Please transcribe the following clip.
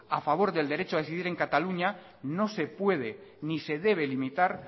a favor del derecho a decidir en cataluña no se puede ni se debe limitar